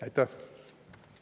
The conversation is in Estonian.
Aitäh!